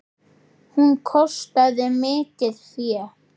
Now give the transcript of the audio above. Hún kostaði mikið fé.